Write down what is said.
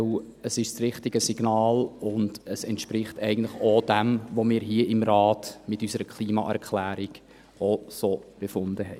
Denn es ist das richtige Signal und entspricht dem, was wir hier im Rat mit unserer Klimaerklärung so befunden haben.